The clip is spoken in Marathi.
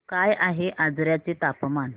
काय आहे आजर्याचे तापमान